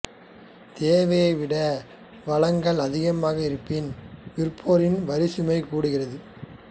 தேவையை விட வழங்கல் அதிகமாக இருப்பின் விற்போரின் வரிச்சுமை கூடுகின்றது